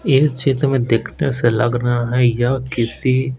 इस चित में देखने से लग रहा है यह किसी--